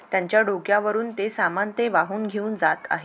त्यांचा डोक्यावरून ते सामान ते वाहून घेवून जात आहे.